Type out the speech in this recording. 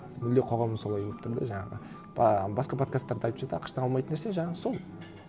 мүлде қоғамы солай болып тұр да жаңағы басқа подкасттарда айтып жатыр ақш тан алмайтын нәрсе жаңағы сол